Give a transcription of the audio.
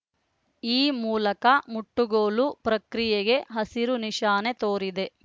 ಈ ಮೂಲಕ ಮುಟ್ಟುಗೋಲು ಪ್ರಕ್ರಿಯೆಗೆ ಹಸಿರುನಿಶಾನೆ ತೋರಿದೆ